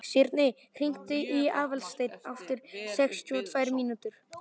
Sírnir, hringdu í Aðalstein eftir sextíu og tvær mínútur.